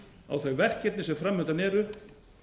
á þau verkefni sem fram undan eru